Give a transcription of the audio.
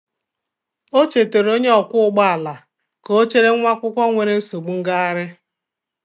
O chetaara onye ọkwọ ụgbọ ala ka ọ chere nwa akwụkwọ nwere nsogbu ngagharị.